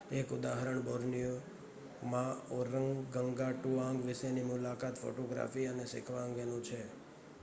એક ઉદાહરણ બોર્નિયોમાં ઓરગંગાટુઆંગ વિશેની મુલાકાત ફોટોગ્રાફી અને શીખવા અંગેનું છે